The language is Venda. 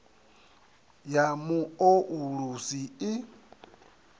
ya mu o ulusi i